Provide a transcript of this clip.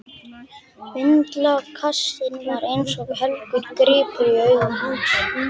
Vindlakassinn var eins og helgur gripur í augum hans.